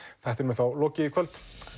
þættinum er þá lokið í kvöld